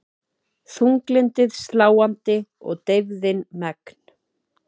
Þunglyndið sláandi og deyfðin megn.